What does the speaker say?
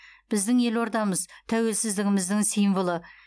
біздің елордамыз тәуелсіздігіміздің символы